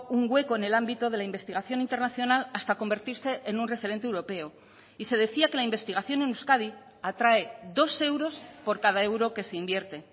un hueco en el ámbito de la investigación internacional hasta convertirse en un referente europeo y se decía que la investigación en euskadi atrae dos euros por cada euro que se invierte